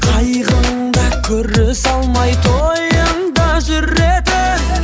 қайғыңда көрісе алмай тойыңда жүретін